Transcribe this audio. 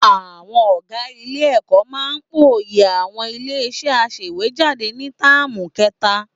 Àwọn ọ̀gá Ilé-ẹ̀kọ́ máa pòòyì àwọn ilé-iṣẹ́ aṣèwéjádé ni táàmù kẹta.